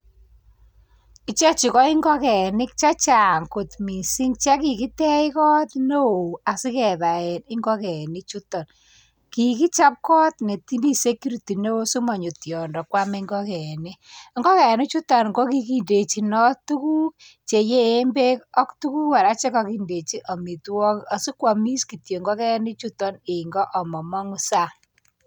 Ichechu ko ingokenik chechang kot missing che kikitej kot neo sikebaen ingongenik juton kikichop koot nemi security neo simonyo tiondo kwam ingongenik. Ingokenik juton ko kikindechinit tukuk cheyeen beek ak tukuk kora che kokindejinot amitwogik asikwomis kityok ingongenik juton en ngoo amomongu saa.